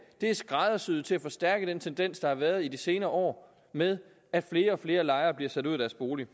er skræddersyet til at forstærke den tendens der har været i de senere år med at flere og flere lejere bliver sat ud af deres bolig